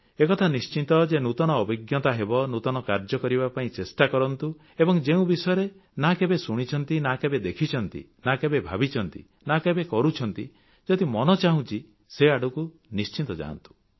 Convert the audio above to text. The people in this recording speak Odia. ଏକଥା ନିଶ୍ଚିତ ଯେ ନୂତନ ଅଭିଜ୍ଞତା ହେବ ନୂତନ କାର୍ଯ୍ୟ କରିବା ପାଇଁ ଚେଷ୍ଟା କରନ୍ତୁ ଏବଂ ଯେଉଁ ବିଷୟରେ ନା କେବେ ଶୁଣିଛନ୍ତି ନା କେବେ ଦେଖିଛନ୍ତି ନା କେବେ ଭାବିଛନ୍ତି ନା କେବେ କରିଛନ୍ତି ଯଦି ମନ ଚାହୁଁଛି ସେ ଆଡ଼କୁ ନିଶ୍ଚିତ ଯାଆନ୍ତୁ